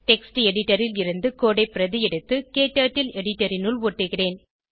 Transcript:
text editor ல் இருந்து code ஐ பிரதி எடுத்து க்டர்ட்டில் எடிட்டர் இனுள் ஒட்டுகிறேன்